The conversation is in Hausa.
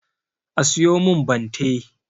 A siyo min bante